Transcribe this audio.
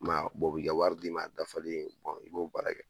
I ma ye a, u bi ka wari di ma a dafalen i b'o baara kɛ.